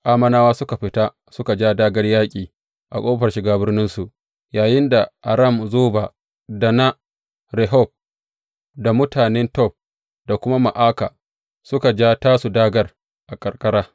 Ammonawa suka fita suka ja dāgār yaƙi a ƙofar shiga birninsu, yayinda Aram Zoba, da na Rehob, da mutane Tob, da kuma na Ma’aka, suka ja tasu dāgār a karkara.